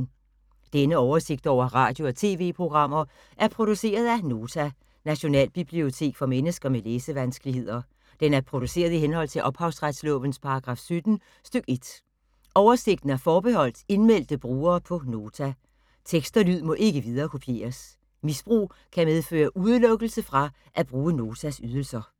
Denne oversigt over radio og TV-programmer er produceret af Nota, Nationalbibliotek for mennesker med læsevanskeligheder. Den er produceret i henhold til ophavsretslovens paragraf 17 stk. 1. Oversigten er forbeholdt indmeldte brugere på Nota. Tekst og lyd må ikke viderekopieres. Misbrug kan medføre udelukkelse fra at bruge Notas ydelser.